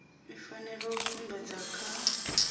i fanela u sumbedzwa kha